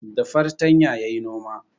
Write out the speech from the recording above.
Da fartanya yayi noma